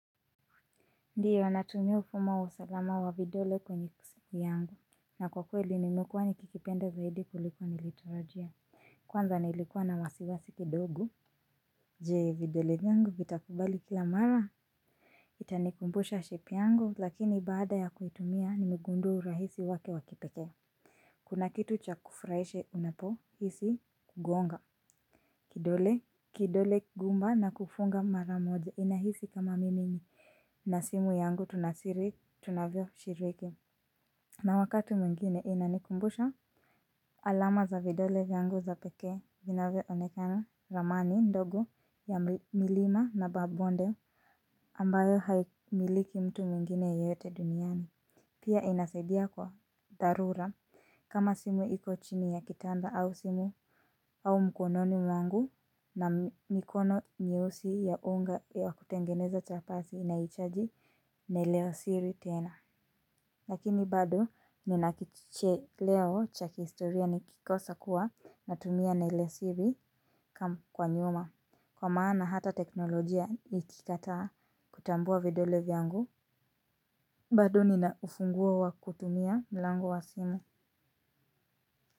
Ndiyo natumia ufumo wa usalama wa vidole kwenye siku yangu na kwa kweli nimekuwa nikikipenda zaidi kuliko nilitarajia. Kwanza nilikuwa na wasiwasi kidogo. Je vidole vyangu vitakubali kila mara. Itanikumbusha shape yangu lakini baada ya kuitumia nimegundua urahisi wake wa kipekee. Kuna kitu cha kufurahisha unapohisi kugonga kidole kidole gumba na kufunga mara moja inahisi kama mimi. Na simu yangu tuna siri tunavyoshiriki. Na wakati mwingine inanikumbusha alama za vidole vyangu za pekee vinavyoonekana ramani ndogo ya milima na mabonde ambayo haimiliki mtu mwingine yeyote duniani. Pia inasaidia kwa dharura kama simu iko chini ya kitanda au simu au mkononi mwangu na mikono nyeusi ya unga ya kutengeneza chapati inahitaji neno la siri tena. Lakini bado nina kicheleo cha kihistoria nikikosa kuwa natumia nenosiri kwa nyuma kwa maana hata teknolojia ikikataa kutambua vidole vyangu. Bado nina ufunguo wa kutumia mlango wa simu.